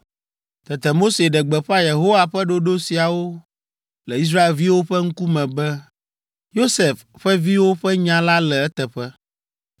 Tete Mose ɖe gbeƒã Yehowa ƒe ɖoɖo siawo le Israelviwo ƒe ŋkume be, “Yosef ƒe viwo ƒe nya la le eteƒe.